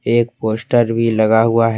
एक पोस्टर भी लगा हुआ है।